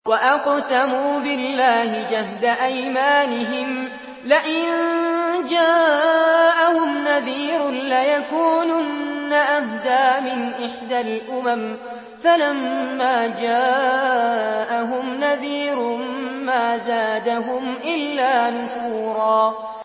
وَأَقْسَمُوا بِاللَّهِ جَهْدَ أَيْمَانِهِمْ لَئِن جَاءَهُمْ نَذِيرٌ لَّيَكُونُنَّ أَهْدَىٰ مِنْ إِحْدَى الْأُمَمِ ۖ فَلَمَّا جَاءَهُمْ نَذِيرٌ مَّا زَادَهُمْ إِلَّا نُفُورًا